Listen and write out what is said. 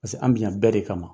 Paseke an bi yan bɛɛ de kama.